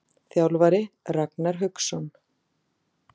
Þjálfari: Ragnar Hauksson.